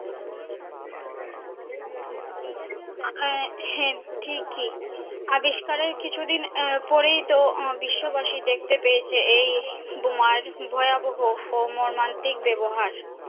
আহ হাঁ ঠিক ই আবিষ্কারের কিছুদিন আহ পরেই তো ওহ বিশ্ববাসী দেখতে পেয়েছে এই বোমার ভয়াবহ ও মর্মান্তিক ব্যাবহার